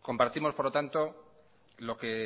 compartimos por lo tanto lo que